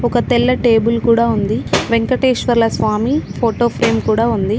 ఒక తెల్ల టేబుల్ కూడా ఉంది వెంకటేశ్వర్ల స్వామి ఫోటో ఫ్రేమ్ కూడా ఉంది.